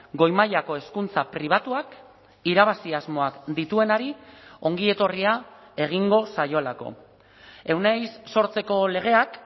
goi mailako hezkuntza pribatuak irabazi asmoak dituenari ongi etorria egingo zaiolako euneiz sortzeko legeak